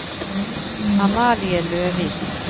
Amalie Løvik